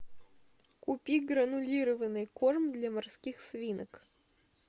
купи гранулированный корм для морских свинок